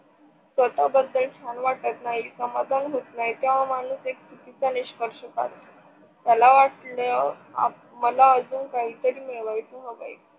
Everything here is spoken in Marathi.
स्वतःबद्दल छान वाटत नाही, समाधान होत नाही तेव्हा माणूस एक चुकीचा निष्कर्ष काढतो. त्याला वाटल मला अजून काही तरी मिळवायच आहे.